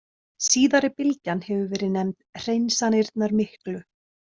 Síðari bylgjan hefur verið nefnd Hreinsanirnar miklu.